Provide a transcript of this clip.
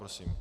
Prosím.